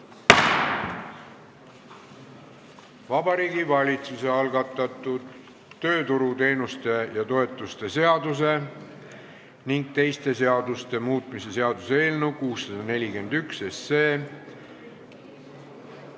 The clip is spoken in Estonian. Vabariigi Valitsuse algatatud tööturuteenuste ja -toetuste seaduse ning teiste seaduste muutmise seaduse eelnõu 641 kolmas lugemine.